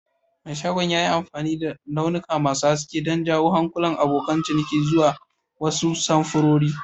Mai shagon ya yi amfani da launuka masu haske don jawo hankalin abokan ciniki zuwa wasu samfurori.